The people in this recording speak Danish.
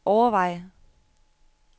overveje